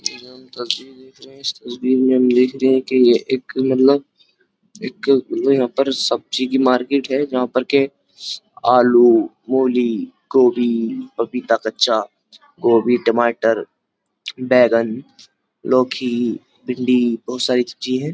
ये जो हम तस्वीर देख रहे हैं इस तस्वीर में हम देख रहे हैं कि ये एक मतलब एक यहां पर सब्जी की मार्केट है जहां पर के आलू मूली गोभी पपीता कच्चा गोभी टमाटर बैंगन लोखी भिंडी बोहोत सारी सब्जी है।